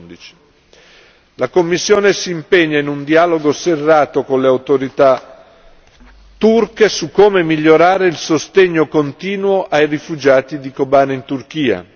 2011. La Commissione si impegna in un dialogo serrato con le autorità turche su come migliorare il sostegno continuo ai rifugiati di Kobane in Turchia.